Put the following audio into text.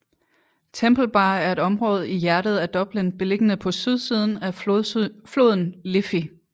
Temple Bar er et område i hjertet af Dublin beliggende på sydsiden af floden Liffey